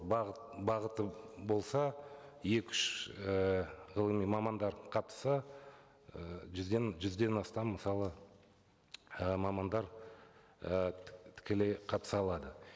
бағыт бағыты болса екі үш і ғылыми мамандар қатысса ы жүзден жүзден астам мысалы і мамандар і тікелей қатыса алады